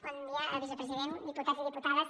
bon dia vicepresident diputats i diputades